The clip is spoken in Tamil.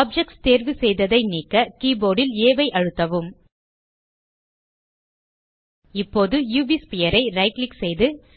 ஆப்ஜெக்ட்ஸ் தேர்வு செய்ததை நீக்க கீபோர்ட் ல் ஆ ஐ அழுத்தவும் இப்போது உவ் ஸ்பீர் ஐ ரைட் கிளிக் செய்து